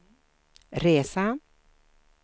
resa